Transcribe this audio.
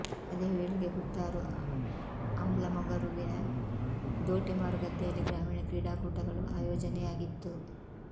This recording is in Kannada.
ಅದೇ ವೇಳೆಗೆ ಕುತ್ತಾರು ಅಂಬ್ಲಮೊಗರುವಿನ ದೋಟೆಮಾರು ಗದ್ದೆಯಲ್ಲಿ ಗ್ರಾಮೀಣ ಕ್ರೀಡಾಕೂಟಗಳು ಆಯೋಜನೆಯಾಗಿತ್ತು